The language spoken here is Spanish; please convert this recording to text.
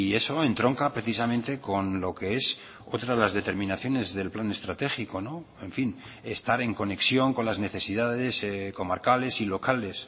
eso entronca precisamente con lo que es otras de las determinaciones del plan estratégico en fin estar en conexión con las necesidades comarcales y locales